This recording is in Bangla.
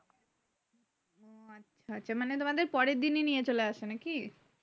হচ্ছে মানে তোমাদের পরের দিনই নিয়ে চলে আসছো নাকি?